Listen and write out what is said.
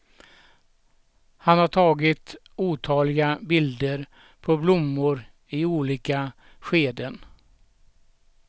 Han har tagit otaliga bilder på blommor i olika skeden.